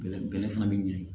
Bɛnɛ fana bɛ ɲɛ